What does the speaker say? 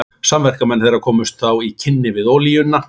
Samverkamenn þeirra komust þá í kynni við olíuna.